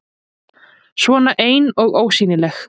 Svona ein og ósýnileg.